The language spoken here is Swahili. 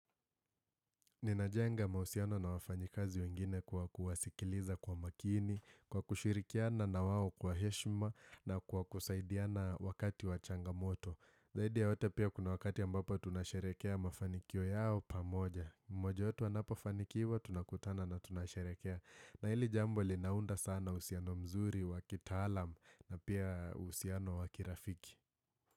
Ninajenga mahusiano na wafanyikazi wengine kwa kuwasikiliza kwa makini, kwa kushirikiana na wao kwa heshima na kwa kusaidiana wakati wa changamoto. Zaidi yote pia kuna wakati ambapo tunasherekea mafanikio yao pamoja. Mmoja wetu anapofanikiwa, tunakutana na tunasherekea. Na hili jambo linaunda sana uhusiano mzuri wa kitaalam na pia uhusiano wa kirafiki.